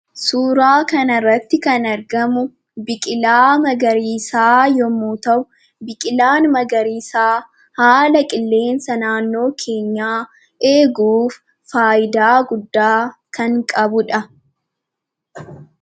Suuraa kanarratti kan argamu biqilaa magariisaa yommuu ta'u, biqilaan magariisaa haala qilleensa naannoo keenyaa eeguuf faayidaa guddaa kan qabudha.